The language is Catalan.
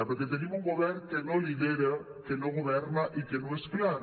perquè tenim un govern que no lidera que no governa i que no és clar